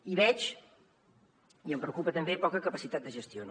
i veig i em preocupa també poca capacitat de gestió